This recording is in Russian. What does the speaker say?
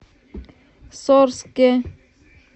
сорске